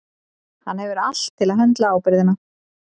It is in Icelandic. Hann hefur allt til að höndla ábyrgðina.